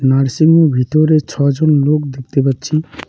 Nursing home -এর ভিতরে ছ'জন লোক দেখতে পাচ্ছি।